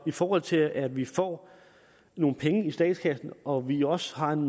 i forhold til at vi får nogle penge i statskassen og vi også har en